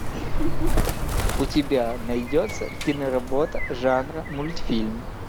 у тебя найдется кино работа жанра мультфильм